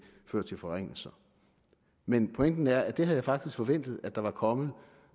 føre til forringelser men pointen er at det havde jeg faktisk forventet at der var kommet